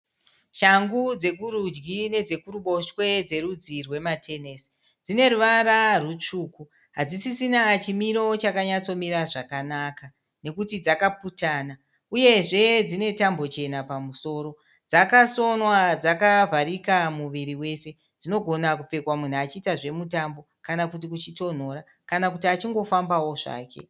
Shangu dzekurudyi nedze kuruboshwe dzerudzi rwematenesi dzine ruvara rwutsvuku hadzisisina chimiro chakanyatsomira zvakanaka nekuti dzakaputana uyezve dzine tambo chena pamusoro dzakasonwa dzakavharika muviri wese dzinogona kupfekwa munhu achiita zvemutambo kana kuti kuchitonhora kana kuti achingofambawo zvake.